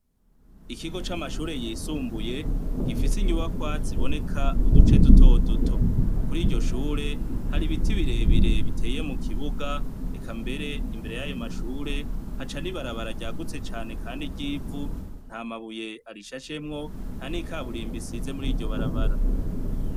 Ikigo c'amashure yisumbuye gifise inyubakwa ziboneka uduce duto duto, kuri iryo shure hari ibiti birebire biteye mu kibuga, eka mbere imbere y'ayo mashure haca n'ibarabara ryagutse cane, kandi ry'ivu, nta mabuye arishashemwo nta n'ikaburimbi isize muri iryo barabara.